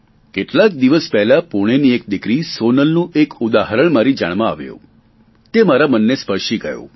કેટલાક દિવસ પહેલા પૂણેની એક દીકરી સોનલનું એક ઉદાહરણ મારી જાણમાં આવ્યું તે મારા મનને સ્પર્શી ગયું